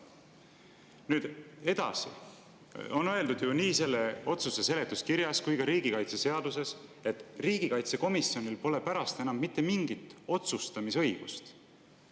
Nüüd edasi, nii selle otsuse seletuskirjas kui ka riigikaitseseaduses on ju öeldud, et riigikaitsekomisjonil pole pärast enam mitte mingit otsustamisõigust.